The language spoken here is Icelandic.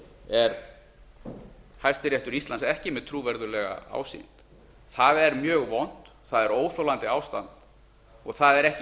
er hæstiréttur íslands ekki með trúverðuglega ásýnd það er mjög vont það er óþolandi ástand og það er ekki